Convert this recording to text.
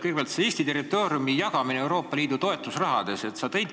Kõigepealt, Eesti territooriumi jagamine Euroopa Liidu toetusraha saamise nimel.